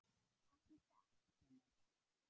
Ekki satt Gunnar?